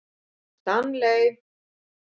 Stanley